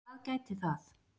Hvað gæti það